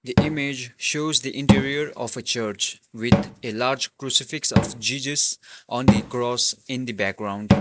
the image shows the interior of a church with a large crucifix of jesus on the cross in the background.